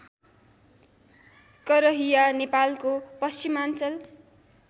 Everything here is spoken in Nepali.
करहिया नेपालको पश्चिमाञ्चल